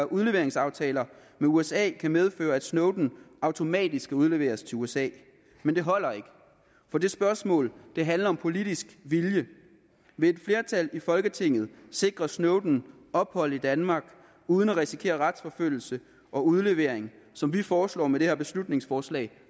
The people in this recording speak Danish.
udleveringsaftaler med usa kan medføre at snowden automatisk skal udleveres til usa men det holder ikke for det spørgsmål handler om politisk vilje vil et flertal i folketinget sikre snowden ophold i danmark uden at risikere retsforfølgelse og udlevering som vi foreslår med det her beslutningsforslag